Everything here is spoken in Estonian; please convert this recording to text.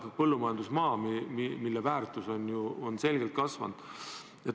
Ka põllumajandusmaa väärtus on ju selgelt kasvanud.